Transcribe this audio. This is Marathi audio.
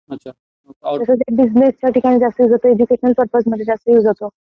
त्याचा बिझनेस मध्ये जास्त युज होतो, एज्युकेशन पर्पज मध्ये जास्त युज होतो.